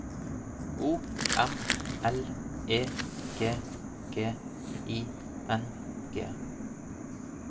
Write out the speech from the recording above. O M L E G G I N G